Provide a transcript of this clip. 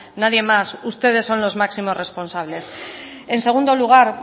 nadie más ustedes son los máximos responsables en segundo lugar